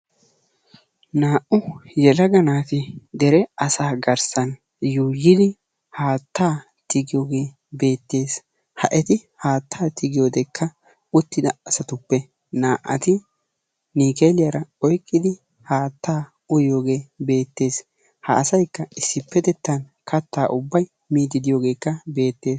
Naa"u yelaga naati dere asaa garssan yuuyidi haattaa tigiyogee beettees, ha eti haattaa tigiyodekka uttida asatuppe naa"ati niikkeeliyara oyqqidi haattaa uyiyogee beettees, ha asaykka issippetettan kattaa ubbay miiddi de'iyogee beettees.